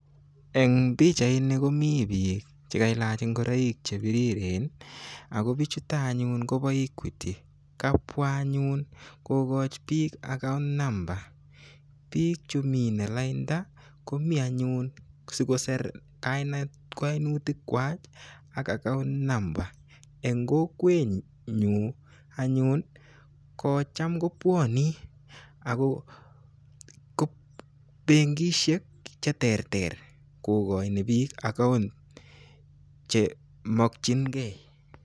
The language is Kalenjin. En pichaini komi biik chekailach ngoroik chebiriren ago bichuton anyun kobo Equity kabwa anyun kokochi biik account number bichu mine lainda komi anyu sikosir kainet koinutikwak ak account number. En kokwenyun anyun kocham kobwone ago benkisiek cheterter kokoi biik account chemokyingei .